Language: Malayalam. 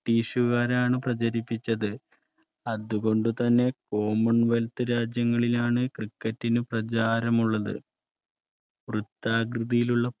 ബ്രിട്ടീഷുകാരാണ് പ്രചരിപ്പിച്ചത്. അതുകൊണ്ടുതന്നെ കോമൺവെൽത്ത് രാജ്യങ്ങളിലാണ് cricket പ്രചാരമുള്ളത് വൃത്താകൃതിയിലുള്ള